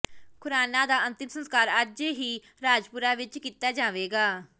ਖੁਰਾਣਾ ਦਾ ਅੰਤਿਮ ਸੰਸਕਾਰ ਅੱਜ ਹੀ ਰਾਜਪੁਰਾ ਵਿੱਚ ਕੀਤਾ ਜਾਵੇਗਾ